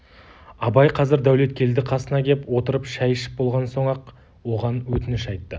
абай қазір дәулеткелді қасына кеп отырып шай ішіп болған соң-ақ оған өтініш айтты